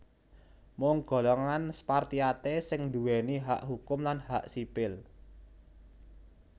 Mung golongan Spartiate sing nduwèni hak hukum lan hak sipil